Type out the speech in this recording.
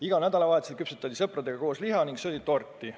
Igal nädalavahetusel küpsetati sõpradega koos liha ning söödi torti.